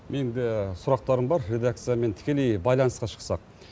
менде сұрақтарым бар редакциямен тікелей байланысқа шықсақ